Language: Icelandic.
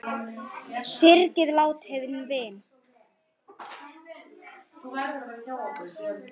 Syrgið látinn vin!